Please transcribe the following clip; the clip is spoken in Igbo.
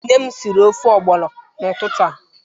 Nne m siri ofe ogbono n'ututu a.